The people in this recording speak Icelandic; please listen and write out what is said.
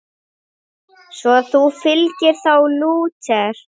Svo þú fylgir þá Lúter?